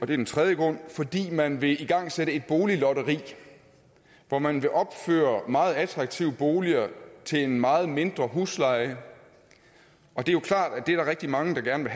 den tredje grund fordi man vil igangsætte et boliglotteri hvor man vil opføre meget attraktive boliger til en meget mindre husleje og det er jo klart at det er der rigtig mange der gerne